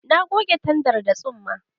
Ta goge tandar da tsumma.